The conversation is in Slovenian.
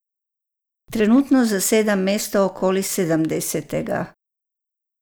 Trenutno zasedam mesto okoli sedemdesetega.